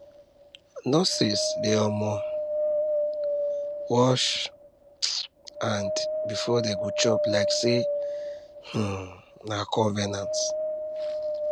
nurses dey um wash um hand before dey go chop like say um na convenant